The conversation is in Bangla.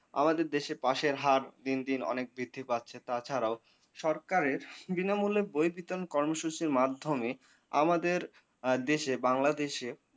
আমাদের দেশে পাস এর হার দিনদিন অনেক বৃদ্ধি পাচ্ছে তাছাড়াও সরকারের বিনামূল্যে বই বিতরন কর্মসূচির মাধ্যমে আমাদের এ দেশে বাংলাদেশে